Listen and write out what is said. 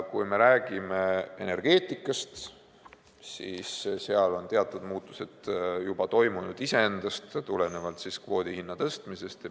Kui me räägime energeetikast, siis seal on teatud muutused toimunud juba iseenesest, tulenevalt kvoodi hinna tõstmisest.